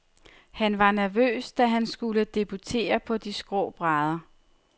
Han var nervøs, da han skulle debutere på de skrå brædder.